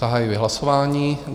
Zahajuji hlasování.